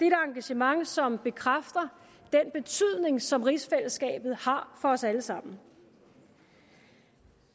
et engagement som bekræfter den betydning som rigsfællesskabet har for os alle sammen